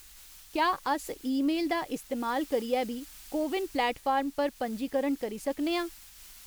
क्या अस ईमेल दा इस्तेमाल करियै बी कोविन प्लेटफार्म पर पंजीकरण करी सकने आं ?